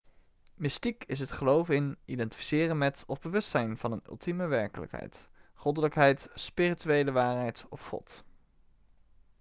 mystiek is het geloven in identificeren met of bewustzijn van een ultieme werkelijkheid goddelijkheid spirituele waarheid of god